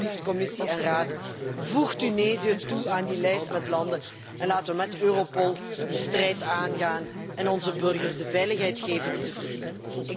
Dus alsjeblieft, Commissie en Raad, voeg Tunesië toe aan die lijst met landen en laten we met Europol die strijd aangaan en onze burgers de veiligheid geven die ze verdienen.